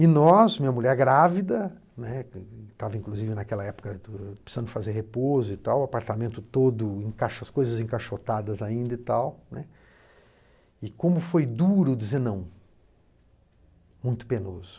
E nós, minha mulher grávida, né, estava inclusive naquela época precisando fazer repouso e tal, o apartamento todo em caixas, as coisas encaixotadas ainda e tal, né, e como foi duro dizer não, muito penoso.